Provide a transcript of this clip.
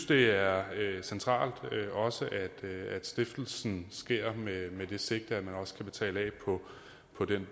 det er centralt at stiftelsen sker med det sigte at man også kan betale af på den